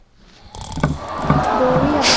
ਜੋ ਵੀ ਆ